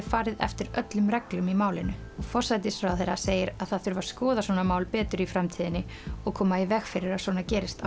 farið eftir öllum reglum í málinu forsætisráðherra segir að það þurfi að skoða svona mál betur í framtíðinni og koma í veg fyrir að svona gerist